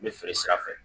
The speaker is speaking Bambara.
N bɛ feere sira fɛ